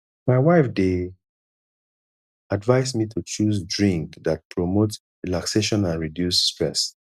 my wife dey advise me to choose drink that promote relaxation and reduce stress